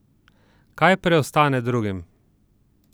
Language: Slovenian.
Kaj preostane drugim?